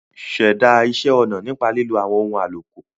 Ṣẹ̀dá iṣẹ́ ọna nípa lílo àwọn ohun àlòkù.